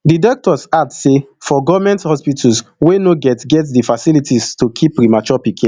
di doctor add say for goment hospitals we no get get di facilities to keep premature pikin